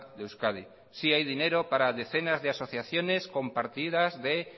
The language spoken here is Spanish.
de euskadi sí hay dinero para decenas de asociaciones con partidas de